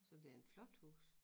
Så det en flot hus